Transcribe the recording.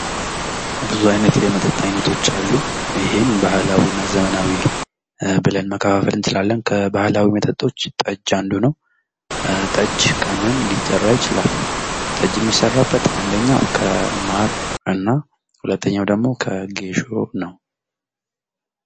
ብዙ አይነት የመጠጥ አይነቶች አሉ። ይሄም ባህላዊ እና ዘመናዊ ብለን መከፋፈል እንችላለን። ከባህላዊ መጠጦች ጠጅ አንዱ ነው። ጠጅ ከምን ሊሰራ ይችላል? ተጅ ሚሰራበት አንደኛው ከማር ነው፤ ሁለተኛው ደሞ ከጌሾ ነው።